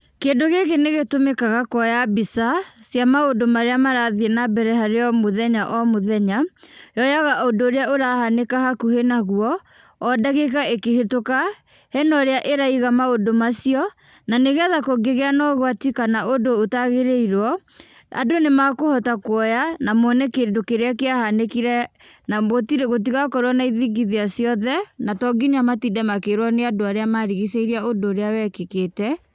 Kĩndũ gĩkĩ nĩ gĩtũmĩkaga kuoya mbica, cia maũndũ marĩa marathiĩ na mbere harĩ o mũthenya o mũthenya, yoyaga ũndũ ũrĩa ũrahanĩka hakuhĩ naguo, o ndagĩka ĩkĩhĩtũka, hena ũrĩa ĩraiga maũndũ macio, na nĩgetha kũngĩgĩa na ũgwati kana ũndũ ũtagĩrĩirwo, andũ nĩmekũhota kũoya, na mone kĩndũ kĩrĩa kĩahanĩkire, na gũtirĩ, gũtigakorwo na ithingithia ciothe, na to nginya matinde makĩrwo nĩ andũ arĩa marigicĩirie ũndũ ũrĩa wekĩkĩte.